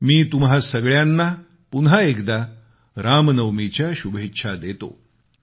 मी तुम्हा सगळ्यांना पुन्हा एकदा रामनवमीच्या शुभेच्छा देतो